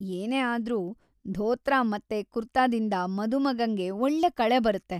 ಏನೇ ಆದ್ರೂ, ಧೋತ್ರ ಮತ್ತೆ ಕುರ್ತಾದಿಂದ ಮದುಮಗಂಗೆ ಒಳ್ಳೆ ಕಳೆ ಬರತ್ತೆ.